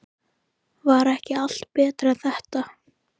Var ekki allt betra en þetta?